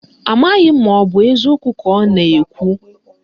Amaghị m ka ọ bụ eziokwu ka ọ na-ekwu